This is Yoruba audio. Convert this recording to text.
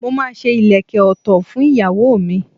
Mo máa ṣe ìlékè òtò fún ìyàwó mi.